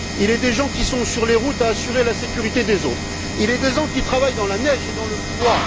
Il y a des gens qui sont sur les routes pour assurer la sécurité des autres. Il y a des gens qui travaillent dans la neige et dans le froid.